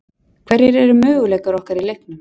Hverjir eru möguleikar okkar í leiknum?